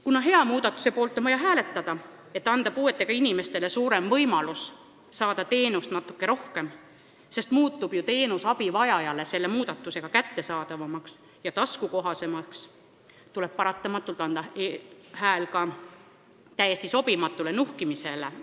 Kuna hea muudatuse poolt on vaja hääletada, et anda puuetega inimestele võimalus saada natuke rohkem teenust – see muutub ju abivajajale kättesaadavamaks ja taskukohasemaks –, tuleb paratamatult anda hääl ka täiesti sobimatule eelnõu nuhkimise osale.